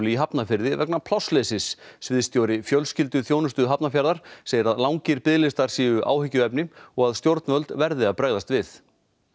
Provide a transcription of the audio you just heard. í Hafnarfirði vegna plássleysis sviðsstjóri fjölskylduþjónustu Hafnarfjarðar segir að langir biðlistar séu áhyggjuefni og stjórnvöld verði að bregðast við